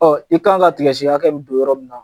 Ɔn i kan ka tigɛsi hakɛ min don yɔrɔ min na